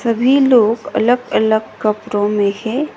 सभी लोग अलग-अलग कपरो मे है।